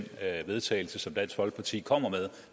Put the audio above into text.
vedtagelse som dansk folkeparti kommer med